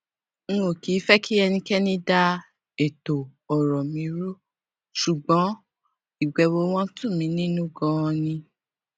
n ò kì í fé kí ẹnikéni dá ètò òrò mi rú ṣùgbón ìbèwò wọn tù mí nínú ganan ni